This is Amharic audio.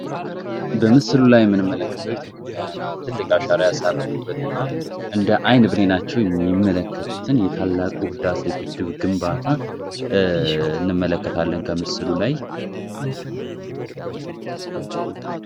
በምስል ላይ ምንመለከተው ኢት ዮጵያ ትልቅ አሻራ ያሳረፉበት እና እንደ አይን ብሌላችሁ የሚመለከቱትን የታላቁ ህዳሴ ግድብ ግንባታ እንመለከታለን ከምስሉ ላይ